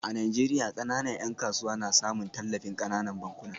A Najeriya, kananan ‘yan kasuwa na samun tallafin kananan bankuna